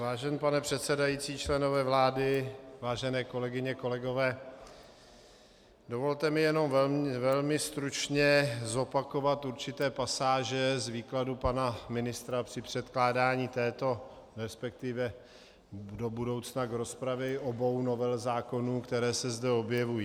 Vážený pane předsedající, členové vlády, vážené kolegyně, kolegové, dovolte mi jenom velmi stručně zopakovat určité pasáže z výkladu pana ministra při předkládání této, respektive do budoucna k rozpravě obou novel zákonů, které se zde objevují.